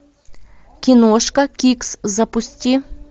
киношка кикс запусти